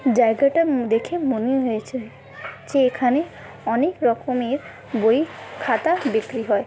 জায়গাটা উম দেখে মনে হয়েছে যে এখানে অনেক রকমের বই খাতা বিক্রি হয়।